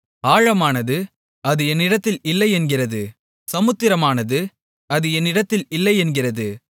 ஆழமானது அது என்னிடத்தில் இல்லையென்கிறது சமுத்திரமானதும் அது என்னிடத்தில் இல்லையென்கிறது